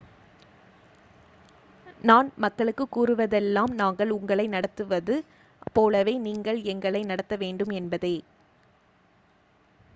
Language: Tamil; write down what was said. நான் மக்களுக்கு கூறுவதெல்லாம் நாங்கள் உங்களை நடத்துவது போலவே நீங்கள் எங்களை நடத்த வேண்டும் என்பதே